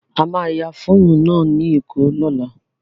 A máa ya fíìmù náà ní Èkó lọ́la.